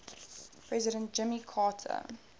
president jimmy carter